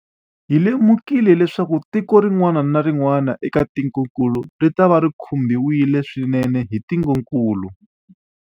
Hi lemukile leswaku tiko rin'wana na rin'wana eka tikokulu ritava ri khumbiwile swinene hi ntungukulu.